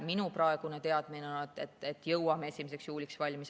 Minu praegune teadmine on, et jõuame 1. juuliks valmis.